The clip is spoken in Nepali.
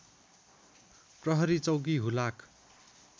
प्रहरी चौकी हुलाक